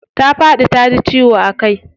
Ta faɗi taji ciwo a kai.